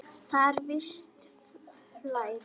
Þarna er visst flæði.